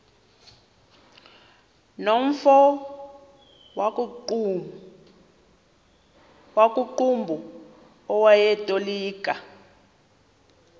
nomfo wakuqumbu owayetolika